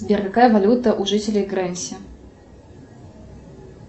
сбер какая валюта у жителей гренси